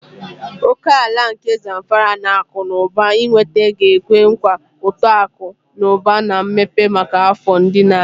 Oke ala nke Zamfara na akụ na ụba ịnweta ga-ekwe nkwa uto akụ na ụba na mmepe maka afọ ndị na-abịa.